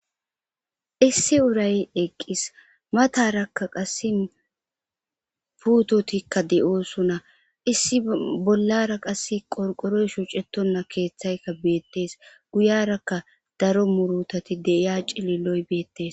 Issi uray eqqis matara qassi putotika de'osona issa bollara qorqooroy shoccetona keethayka beetes guyaraka .daro muurutati de'iyo cilliloy beetes